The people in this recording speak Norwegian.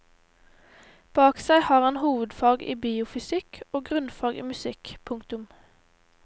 Bak seg har han hovedfag i biofysikk og grunnfag i musikk. punktum